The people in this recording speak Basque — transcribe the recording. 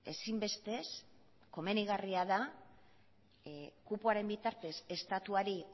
ezinbestez komenigarria da kupoaren bitartez estatuari